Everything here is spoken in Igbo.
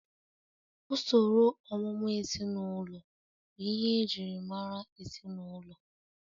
Usoro ọmụmụ ezinụlọ bụ ihe e ji mara ezinụlọ